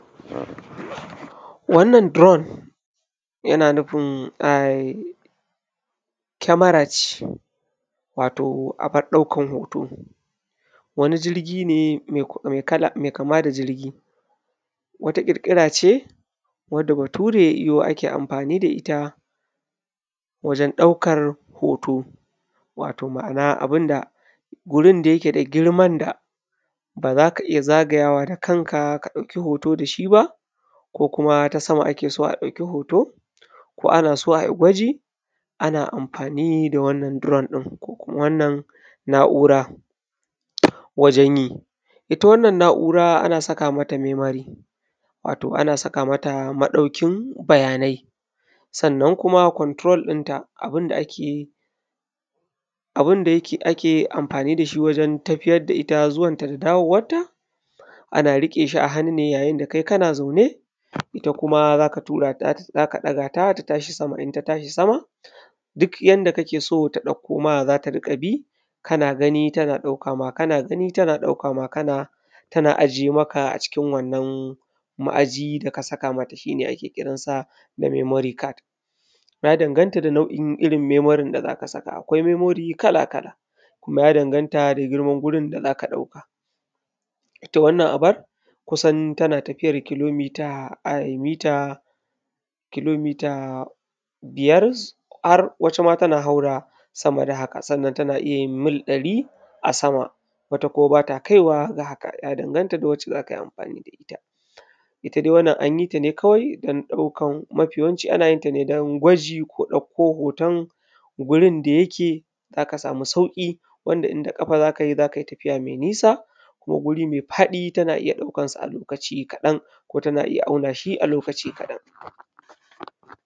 Wannan duron, yana nufin ai, kyamara ce, wato abar ɗaukar hoto. Wani jirgi ne mai kama da jirgi. Wata ƙirƙira ce wadda Bature ya yo ake amfani da ita wajen ɗaukar hoto, wato ma'ana abin da wurin da yake da girman da ba za ka iya zagayawa da kanka ka ɗauki hoto da shi ba, ko kuma ta sama ake so a ɗauki hoto, ko ana so a yi gwaji, ana amfani da wannan duron ɗin, ko kuma wannan na'ura wajen yi. Ita wannan na'ura ana saka mata memari, wato ana saka mata maɗaukin bayanai, sannan kuma control ɗinta, abin da ake yi, abin da yake, ake amfani da shi wajen tafiyar da ita zuwanta da dawowarta, ana riƙe shi a hannu ne yayin da kai kana zaune, ita kuma za ka tura ta za ka ɗaga ta ta tashi sama, in ta tashi sama, duk yanda kake so ta ɗauko ma za ta riƙa bi, kana gani tana ɗauka ma, kana gani tana ɗauka ma, kana, tana ajiye maka a cikin wannan ma'aji da ka saka mata shi ne ake kiran sa da memori kad. Ya danganta da nau'in irin memorin da za ka saka. Akwai memori kala-kala, kuma ya danganta da girman wurin da za ka ɗauka. Ita wannan abar, kusan tana tafiyar kilomita ai mita kilomita biyar, har wata ma tana haura sama da haka, sannan tana iya yin mil ɗari a sama. Wata kuma ba ta kaiwa ga haka, ya danganta ga wacce za ka yi amfani da ita. Ita dai wannan an yi ta ne kawai don ɗaukar mafi yawanci ana yin ta ne don gwaji ko ɗauko hoton gurin da yake za ka samu sauƙi, wanda in da ƙafa za ka yi, za ka yi tafiya mai nisa, ko guri mai faɗi tana iya ɗaukar sa a lokaci kaɗan, ko tana iya ɗaukan shi a lokaci kaɗan.